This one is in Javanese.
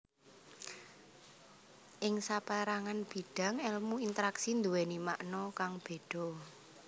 Ing sapérangan bidang èlmu interaksi nduwèni makna kang béda